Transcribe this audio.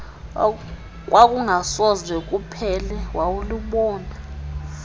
okwakungasoze kuphele walubona